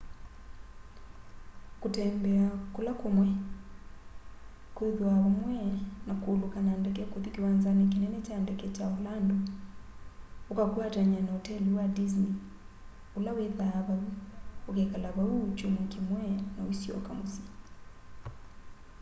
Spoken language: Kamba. kutembea kúla kúmwe” kwithwaa vamwe na kuuluka na ndeke kuthi kiwanzani kinene kya ndeke kya orlando ukakwatany'a na oteli wa disney ula withwaa vau ukekala vau kyumwa kimwe na uisyoka musyi